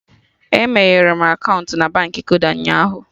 E meghere m akaụntụ na Baankị Kuda ụnyaahụ